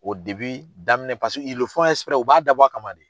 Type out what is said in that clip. daminɛ paseke u b'a dabɔ a kama de